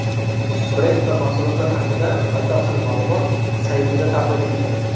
Brend va mahsulotlar haqida batafsil ma’lumot saytida taqdim etilgan.